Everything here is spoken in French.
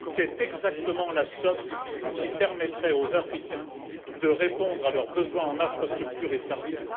C'est exactement la somme qui permettrait aux Africains de répondre à leurs besoins en infrastructures et services.